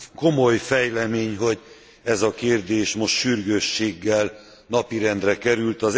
Komoly fejlemény, hogy ez a kérdés most sürgősséggel napirendre került.